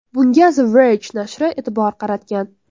Bunga The Verge nashri e’tibor qaratgan .